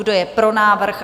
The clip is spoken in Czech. Kdo je pro návrh?